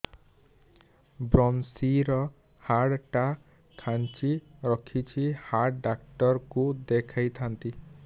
ଵ୍ରମଶିର ହାଡ଼ ଟା ଖାନ୍ଚି ରଖିଛି ହାଡ଼ ଡାକ୍ତର କୁ ଦେଖିଥାନ୍ତି